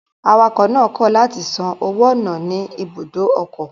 Awakọ̀ náà kọ̀ látì san owó ọ̀nà ní ibùdó ọkọ̀